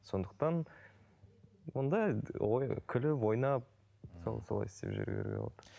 сондықтан онда күліп ойнап сол солай істеп жүре беруге болады